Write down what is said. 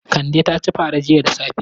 Kande ta ci fara jiya da safe.